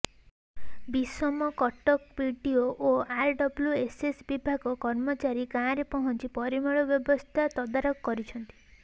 Bissamcuttack BDO ଓ RWSS ବିଭାଗ କର୍ମଚାରୀ ଗାଁରେ ପହଞ୍ଚି ପରିମଳ ବ୍ୟବସ୍ଥା ତଦାରଖ କରିଛନ୍ତି